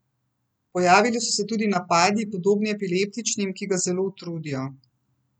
Pojavili so se tudi napadi, podobni epileptičnim, ki ga zelo utrudijo.